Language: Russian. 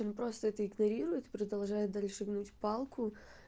он просто это игнорирует продолжает дальше гнуть палку